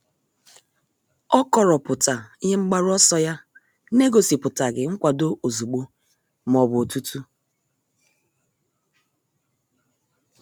O kọrọpụta ihe mgbaru ọsọ ya n'egosipụtaghi nkwado ozugbo ma ọ bụ otutu.